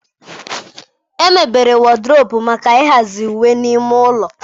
Emebere Wọdụropu maka ịhazi uwe n'ime ụlọ.